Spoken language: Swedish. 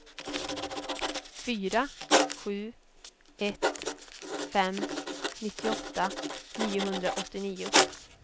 fyra sju ett fem nittioåtta niohundraåttionio